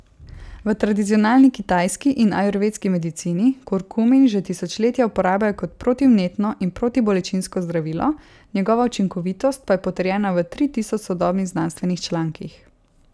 V tradicionalni kitajski in ajurvedski medicini kurkumin že tisočletja uporabljajo kot protivnetno in protibolečinsko zdravilo, njegova učinkovitost pa je potrjena v tri tisoč sodobnih znanstvenih člankih.